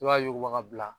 I b'a yuguba ka bila